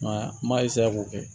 Nka n b'a k'o kɛ